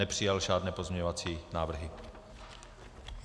Nepřijal žádné pozměňovací návrhy.